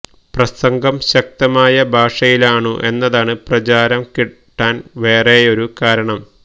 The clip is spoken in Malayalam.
പ്രസംഗം ശക്തമായ ഭാഷയിലാണു എന്നതാണു പ്രചാരം കിട്ടാൻ വേറെയൊരു കാരണം